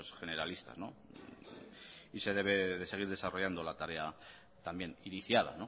generalista se debe seguir desarrollando la tarea también iniciada